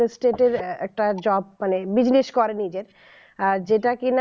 realestate এর একটা job মানে business করে যাদের যেটা কিনা ও